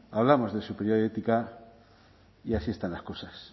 hablamos de superioridad ética y así están las cosas